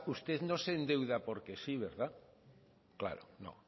usted no se endeuda porque sí verdad claro no